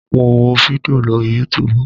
Mo wo fídíò lórí yútuubù